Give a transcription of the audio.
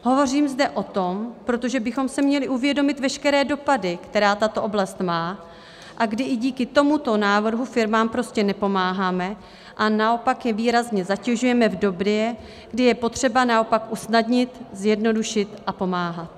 Hovořím zde o tom, protože bychom si měli uvědomit veškeré dopady, které tato oblast má, a kdy i díky tomuto návrhu firmám prostě nepomáháme a naopak je výrazně zatěžujeme v době, kdy je potřeba naopak usnadnit, zjednodušit a pomáhat.